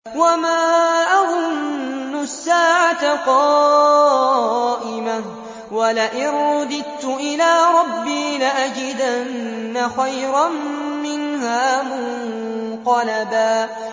وَمَا أَظُنُّ السَّاعَةَ قَائِمَةً وَلَئِن رُّدِدتُّ إِلَىٰ رَبِّي لَأَجِدَنَّ خَيْرًا مِّنْهَا مُنقَلَبًا